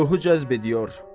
Ruhu cəzb ediyor.